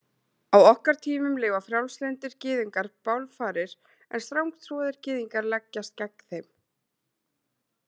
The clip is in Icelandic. Á okkar tímum leyfa frjálslyndir gyðingar bálfarir en strangtrúaðir gyðingar leggjast gegn þeim.